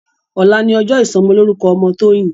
Òlá ni òjò isòmòlórúkò òmò Toyin